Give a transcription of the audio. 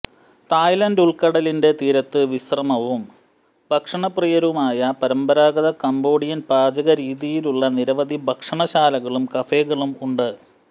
Thailand ഉൾക്കടലിന്റെ തീരത്ത് വിശ്രമവും ഭക്ഷണപ്രിയരുമായ പരമ്പരാഗത കംബോഡിയൻ പാചകരീതികളുള്ള നിരവധി ഭക്ഷണശാലകളും കഫേകളും ഉണ്ട്